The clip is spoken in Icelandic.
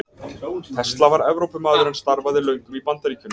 Tesla var Evrópumaður en starfaði löngum í Bandaríkjunum.